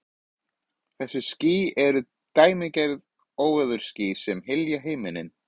Þessi ský eru dæmigerð óveðursský sem hylja himininn.